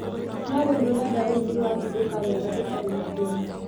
No rĩũ rurenda roũ nirwahĩngũka wega rũtarĩ na thĩna